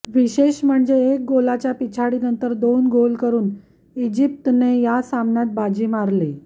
विशेष म्हणजे एक गोलाच्या पिछाडीनंतर दोन गोल करून इजिप्तने या सामन्यात बाजी मारली